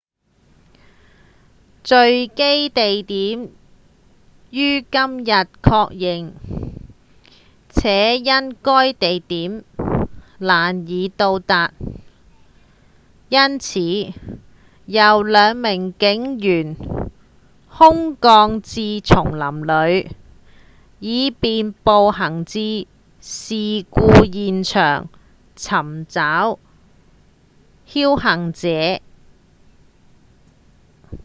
墜機地點已於今日確認且因該地點難以到達因此由兩名警員空降至叢林裡以便步行至事故現場尋找倖存者